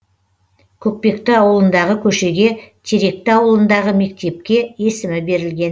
көкпекті ауылындағы көшеге теректі ауылындағы мектепке есімі берілген